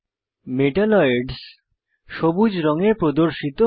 metalloids সবুজ রঙে প্রদর্শিত হয়